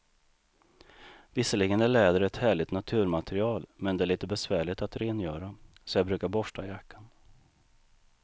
Visserligen är läder ett härligt naturmaterial, men det är lite besvärligt att rengöra, så jag brukar borsta jackan.